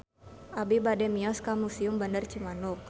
Abi bade mios ka Museum Bandar Cimanuk